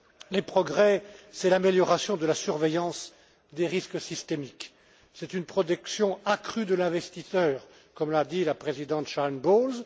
Les progrès, c'est l'amélioration de la surveillance des risques systémiques, c'est une protection accrue de l'investisseur, comme l'a dit la présidente Sharon Bowles.